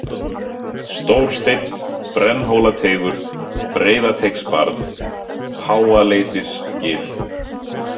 Stór Steinn, Brennhólateigur, Breiðateigsbarð, Háaleitisgil